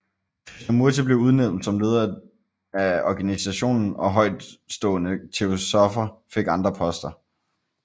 Krishnamurti blev udnævnt som leder af organisationen og højtstående Teosoffer fik andre poster